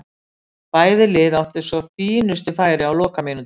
Bæði lið áttu svo fínustu færi á lokamínútunni.